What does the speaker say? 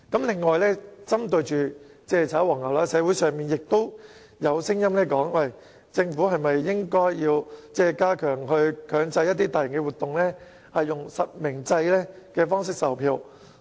此外，針對"炒黃牛"情況，社會上也有聲音提出，政府是否應該強制大型活動以實名制方式售票。